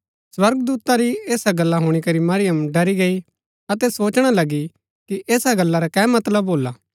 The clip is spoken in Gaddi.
स्वर्गदूता री ऐसा गल्ला हुणी करी मरियम ड़री गई अतै सोचणा लगी कि ऐसा गल्ला रा कै मतलब भोल्ला